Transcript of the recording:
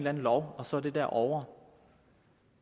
anden lov og så er det der ovre